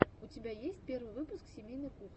у тебя есть первый выпуск семейной кухни